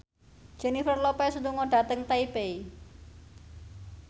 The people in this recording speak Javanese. Jennifer Lopez lunga dhateng Taipei